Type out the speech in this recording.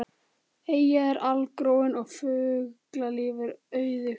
Eyjan er algróin og fuglalíf er auðugt.